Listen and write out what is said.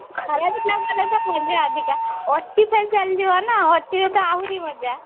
ଖରା ଦିନେ ଗଲେ ତ ମଜା ଅଧିକା ଓଟି ଚାଲି ଯିବନା ଓଟି ରେ ତ ଆହୁରି ମଜା